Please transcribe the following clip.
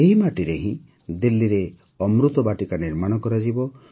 ଏହି ମାଟିରେ ହିଁ ଦିଲ୍ଲୀରେ ଅମୃତ ବାଟିକା ନିର୍ମାଣ କରାଯିବ